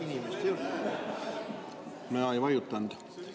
Mina ei vajutanud.